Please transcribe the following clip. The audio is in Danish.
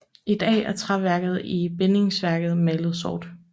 I dag er træværket i bindingsværket malet sort